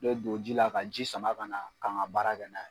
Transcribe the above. N be don ji la ka ji sama kana ka ŋa baara kɛ n'a yɛ.